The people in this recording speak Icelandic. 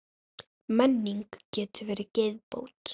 Menning getur verið geðbót.